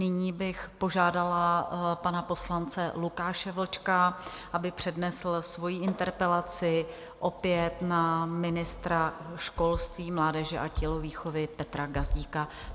Nyní bych požádala pana poslance Lukáše Vlčka, aby přednesl svoji interpelaci opět na ministra školství, mládeže a tělovýchovy Petra Gazdíka.